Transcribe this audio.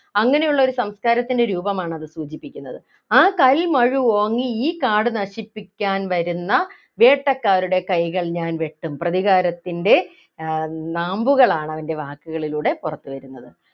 അങ്ങനെയുള്ള ഒരു സംസ്കാരത്തിന്റെ രൂപമാണ് സൂചിപ്പിക്കുന്നത് ആ കൽമഴു ഓങ്ങി ഈ കാട് നശിപ്പിക്കാൻ വരുന്ന വേട്ടക്കാരുടെ കൈകൾ ഞാൻ വെട്ടും പ്രതികാരത്തിൻ്റെ ആഹ് നാമ്പുകളാണ് അവൻ്റെ വാക്കുകളിലൂടെ പുറത്തു വരുന്നത്